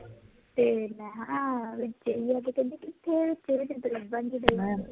ਦੇਖ ਲੈ, ਆ ਹਾਲ ਹੈ, ਵਿੱਚੇ ਹੀ ਹੈ, ਪਤਾ ਨੀ ਕਿਥੇ ਚਲ ਗਈ, ਤੇ ਲੱਭਣ ਨੀ ਡੇਈ